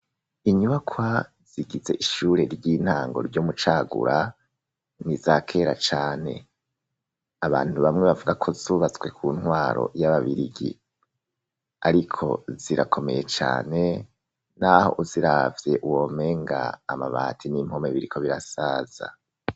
Inyubakwa zigize ishure ry'intango ryo mucagura niza kera cane abantu bamwe bavuga ko zubatswe ku ntwaro y'ababirigi ariko zirakomeye cane n'aho uziravye womenga amabati n'impome biriko birasaza.